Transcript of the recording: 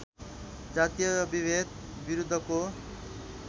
जातीय विभेद विरुद्धको